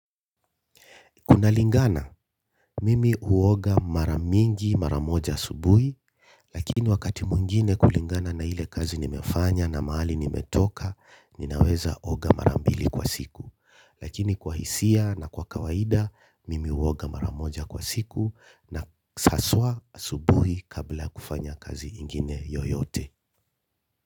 Kunalingana, mimi huoga mara mingi mara moja asubuhi, lakini wakati mwingine kulingana na ile kazi nimefanya na mahali nimetoka, ninaweza oga mara mbili kwa siku. Lakini kwa hisia na kwa kawaida, mimi huoga mara moja kwa siku na haswa asubuhi kabla ya kufanya kazi ingine yoyote.